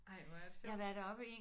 Ej hvor er det sjovt